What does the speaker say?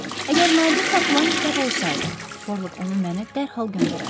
Əgər nadir tapılan kitab olsaydı, Perlok onu mənə dərhal göndərərdi.